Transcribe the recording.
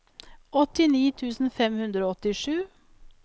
åttini tusen fem hundre og åttisju